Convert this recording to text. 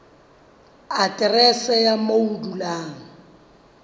aterese ya moo o dulang